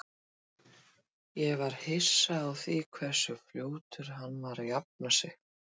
Ég var hissa á því hversu fljótur hann var að jafna sig.